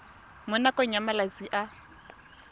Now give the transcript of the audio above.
mo nakong ya malatsi a